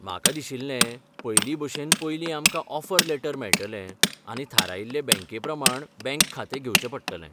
म्हाका दिशिल्लें, पयलीं भशेन पयलीं आमकां ऑफर लेटर मेळटलें आनी थारायिल्ले बँके प्रमाण बँक खातें घेवचें पडटलें.